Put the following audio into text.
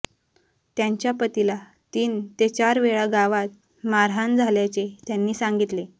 त्यांच्या पतीला तीन ते चार वेळा गावात मारहाण झाल्याचे त्यांनी सांगितले